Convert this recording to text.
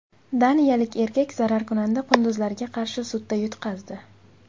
Daniyalik erkak zararkunanda qunduzlarga qarshi sudda yutqazdi.